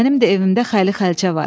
Mənim də evimdə xəli xərçə var.